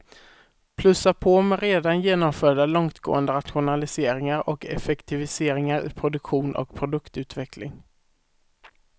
Plussa på med redan genomförda långtgående rationaliseringar och effektiviseringar i produktion och produktutveckling.